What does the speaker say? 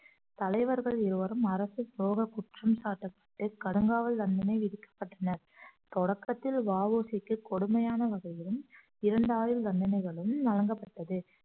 தலைவர்கள் இருவரும் அரசு துரோக குற்றம் சாட்டப்பட்டு கடுங்காவல் தண்டனை விதிக்கப்பட்டனர் தொடக்கத்தில் வ உ சிக்கு கொடுமையான வகையிலும் இரண்டு ஆயுள் தண்டனைகளும் வழங்கப்பட்டது